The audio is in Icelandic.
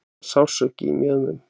Sársauki í mjöðmunum.